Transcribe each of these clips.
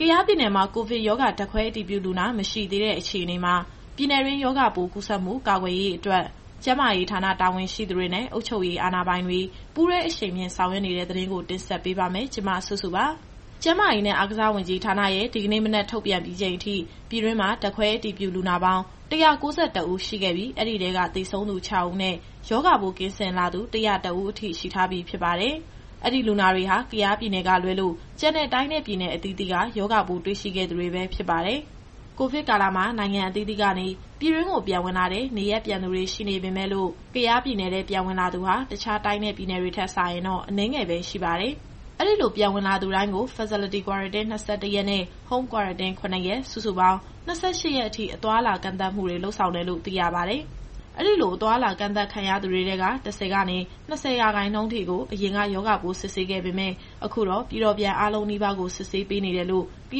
ကယားပြည်နယ်မှာ ကိုဗစ်ရောဂါ ဓာတ်ခွဲအတည်ပြုလူနာ မရှိသေးတဲ့အခြေအနေမှာ ပြည်နယ်တွင်းရောဂါပိုးကူးစက်မှုကာကွယ်ရေးအတွက် ကျန်းမာရေးဌာနတာဝန်ရှိသူတွေနဲ့ အုပ်ချုပ်ရေးအာဏာပိုင်တွေ ပူးတွဲအရှိန်မြှင့်ဆောင်ရွက်နေတဲ့ သတင်းကို မစုစု တင်ဆက်ပေးပါမယ်။ ကျန်းမာရေးနဲ့အားကစားဝန်ကြီးဌာနရဲ့ဒီကနေ့မနက်ထုတ်ပြန်ပြီးချိန်အထိ ပြည်တွင်းမှာ ဓာတ်ခွဲအတည်ပြုလူနာပေါင်း ၁၉၁ဦး ရှိခဲ့ပြီး အဲဒီထဲက သေဆုံးသူ ၆ဦးနဲ့ ရောဂါပိုးကင်းစင်လာသူ ၁၀၁ဦးအထိ ရှိထားပြီးဖြစ်ပါတယ်။ အဲဒီလူနာတွေဟာ ကယားပြည်နယ်ကလွဲလို့ ကျန်တဲ့တိုင်းနဲ့ ပြည်နယ်အသီးသီးက ရောဂါပိုးတွေ့ရှိခဲ့သူတွေပဲ ဖြစ်ပါတယ်။ ကိုဗစ်ကာလမှာ နိုင်ငံအသီးသီးကနေ ပြည်တွင်းကိုပြန်ဝင်လာတဲ့ နေရပ်ပြန်သူတွေရှိပေမယ့်လို့ ကယားပြည်နယ်ထဲပြန်ဝင်လာသူဟာ တခြားတိုင်းနဲ့ ပြည်နယ်တွေထက်စာရင်တော့ အနည်းငယ်ပဲရှိပါတယ်။ အဲဒီလိုပြန်ဝင်လာသူတိုင်းကို Facility Quarantine ၂၁ရက်နဲ့ Home Quarantine ၇ရက် စုစုပေါင်း ၂၈ရက်အထိ အသွားအလာကန့်သတ်မှုတွေ လုပ်ဆောင်တယ်လို့ သိရပါတယ်။ အဲဒီလိုအသွားအလာကန့်သတ်ခံထားရသူတွေထဲက ၁၀ကနေ ၂၀ရာခိုင်နှုန်းထိကို အရင်ကရောဂါပိုးစစ်ဆေးခဲ့ပေမယ့် အခုတော့ ပြည်တော်ပြန်အားလုံးနီးပါးကို စစ်ဆေးပေးနေတယ်လို့ က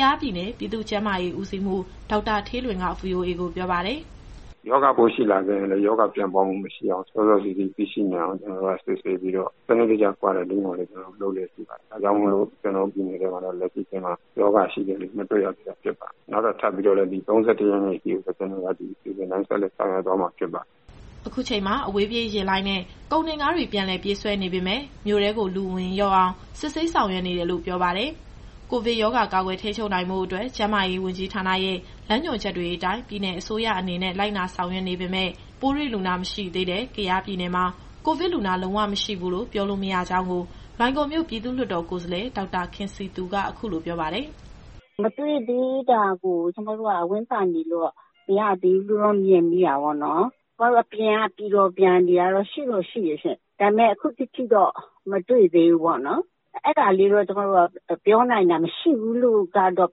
ယားပြည်နယ် ပြည်သူ့ကျန်းမာရေးဦးစီးမှူး ဒေါက်တာဌေးလွင်က VOAကိုပြောပါတယ်။ “ရောဂါပိုးရှိလာခဲ့ရင်လည်း ရောဂါပြန့်ပွားမှုမရှိအောင် စောစောစီးစီးသိရှိနိုင်အောင် ကျတော်တို့က စစ်ဆေးပြီးတော့ စနစ်တကျ Quarantine ကိုလည်း လုပ်လျက်ရှိပါတယ်။ ဒါကြောင့်မို့ ကျတော်တို့ပြည်နယ်ထဲမှာတော့ လက်ရှိအချိန်မှာ ရောဂါရှိတဲ့သူမတွေ့ရသေးတာ ဖြစ်ပါတယ်။ နောက်ထပ် ဒီ ၃၁ရက်နေ့ အထိကို ဒီအစီအစဉ်တိုင်း ဆက်လက်ဆောင်ရွက်သွားမှာဖြစ်ပါတယ်။” အခုချိန်မှာ အဝေးပြေးယာဉ်လိုင်းနဲ့ ကုန်တင်ကားတွေ ပြန်လည်ပြေးဆွဲနေပေမယ့် မြို့ထဲကို လူအဝင်လျှော့အောင် စစ်ဆေးဆောင်ရွက်နေတယ်လို့ ပြောပါတယ်။ ကိုဗစ်ရောဂါကာကွယ်ထိန်းချုပ်ဖို့အတွက် ကျန်းမာရေးဝန်ကြီးဌာနရဲ့ လမ်းညွှန်ချက်တွေအတိုင်း ပြည်နယ်အစိုးရအနေနဲ့ လိုက်နာဆောင်ရွက်နေပေမယ့် ပိုးတွေ့လူနာမတွေ့သေးတဲ့ ကယားပြည်နယ်မှာ ကိုဗစ်လူနာလုံးဝမရှိဘူးလို့ ပြောလို့မရကြောင်းကို လွိုင်ကော်မြို့ပြည်သူ့လွှတ်တော်ကိုယ်စားလှယ် ဒေါက်တာခင်စည်သူက အခုလိုပြောပါတယ်။ “မတွေ့သေးတာကို ကျမတို့ကဝမ်းသာနေလို့ မရသေးဘူးလို့တော့ ကျမမြင်မိတာပေါ့နော်။ ကျမတို့အပြင်က ပြည်တော်ပြန်တွေကတော့ ရှိတော့ရှိတယ်ရှင့်။ ဒါပေမယ့် ခုထက်ထိတော့ (အတည်ပြုလူနာ) မတွေ့သေးဘူးပေါ့နော်။ အဲဒါလေးတော့ ကျမတို့က မရှိဘူးလို့တော့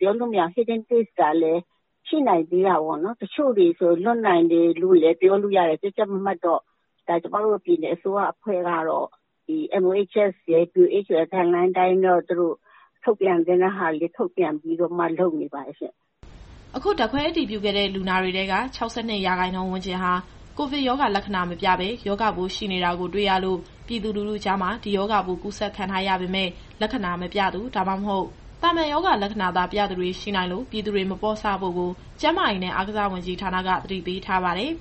ပြောလို့မရဘူး။ Hidden Case ကလည်း ရှိနိုင်သေးတာပေါ့နော်။ တချို့တွေဆိုရင် လွတ်နိုင်တယ်လို့လည်း ပြောလို့ရတယ်။ ကြပ်ကြပ်မတ်မတ်တော့ ကျမတို့ပြည်နယ်အဖွဲ့ကတော့ ဒီMOHS ရယ် WHO ရယ် Guideline အတိုင်းတော့ ထုတ်ပြန်သင့်တာတွေ ထုတ်ပြန်ပြီးတော့မှ လုပ်နေပါတယ်ရှင့်။” အခုဓာတ်ခွဲအတည်ပြုခဲ့တဲ့ လူနာတွေထဲက ၆၂ရာခိုင်နှုန်းဝန်းကျင်ဟာ ကိုဗစ်ရောဂါလက္ခဏာမပြဘဲ ရောဂါပိုးရှိနေတာကို တွေ့ရလို့ ပြည်သူလူထုကြားမှာ ဒီရောဂါပိုးကူးစက်ခံထားရပေမယ့် လက္ခဏာမပြသူ ဒါမှမဟုတ် သာမန်ရောဂါလက္ခဏာသာပြသူတွေ ရှိနိုင်လို့ ပြည်သူတွေမပေါ့ဆဖို့ကို ကျန်းမာရေးနဲ့ အားကစားဝန်ကြီးဌာနက သတိပေးထားပါတယ်။